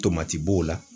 Tomati b'o la